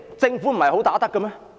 政府不是"很打得"的嗎？